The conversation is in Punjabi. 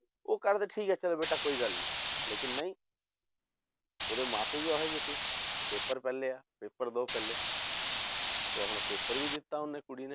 ਉਹ ਕਰਦੇ ਠੀਕ ਹੈ ਚੱਲ ਬੇਟਾ ਕੋਈ ਗੱਲ ਨੀ ਲੇਕਿੰਨ ਨਹੀਂ ਉਹਦੇ ਮਾਂ ਪਿਓ ਵੀ ਉਹ ਜਿਹੇ ਸੀ, ਕਿ paper ਪਹਿਲੇ ਆ paper ਦਓ ਪਹਿਲੇ ਤੇ ਉਹ ਆਪਣਾ paper ਵੀ ਦਿੱਤਾ ਉਹਨੇ ਕੁੜੀ ਨੇ